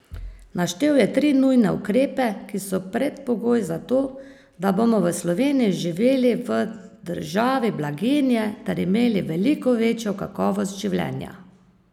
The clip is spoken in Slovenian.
Naštel je tri nujne ukrepe, ki so predpogoj za to, da bomo v Sloveniji živeli v državi blaginje ter imeli veliko večjo kakovost življenja.